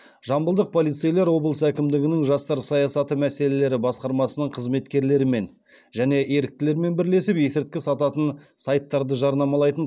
жамбылдық полицейлер облыс әкімдігінің жастар саясаты мәселелері басқармасының қызметкерлерімен және еріктілермен бірлесіп есірткі сататын сайттарды жарнамалайтын